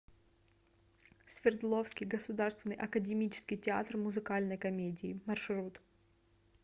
свердловский государственный академический театр музыкальной комедии маршрут